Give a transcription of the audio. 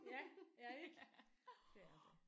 Ja ja ik. Det er det